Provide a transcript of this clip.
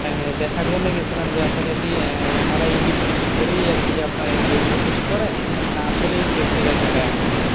আহ দেখার জন্য গেছিলাম যে আসলে কি আহ এনারাই edit টিটিডি করেই আরকি আপনার এরকম কিছু করে না আসলেই দেখতে জায়গাটা এমন